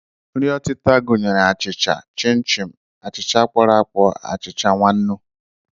Nri ọtịta gụnyere achịcha, chịn chin, achịcha kpọrọ akpọ, achịcha nwannu